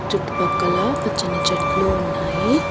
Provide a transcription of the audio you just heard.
చుట్టు పక్కల పచ్చని చెట్లు ఉన్నాయి.